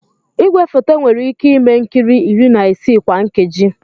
Igwefoto nwere ike ime nkiri iri na isii kwa nkeji.